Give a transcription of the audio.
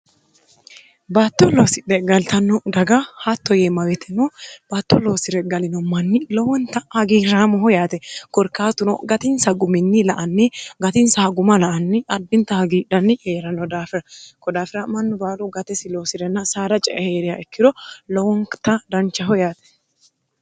battolloosi dheggaltanno daga hatto yee mawitino battolloosire galino manni lowonta hagiirraamoho yaate gorkaatuno gatinsa guminni la anni gatinsaha guma la anni addinta hagiidhanni eyerano daafira kodaafira mannu baalu gatesi loosi'renna saara cee heeriya ikkiro lowonkita danchaho yaate